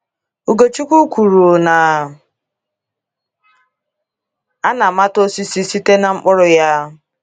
Ugochukwu kwuru na “ a na - amata osisi site ná mkpụrụ ya. ”